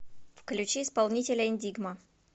включи исполнителя эндигма